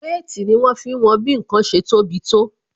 Wéètì ni wọn fi ń wọn bí ǹkan ṣe tó bi tó